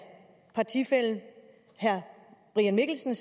partifællen herre brian mikkelsen